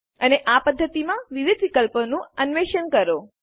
અને આ પદ્ધતિમાં વિવિધ વિકલ્પોનું અન્વેષણ કરો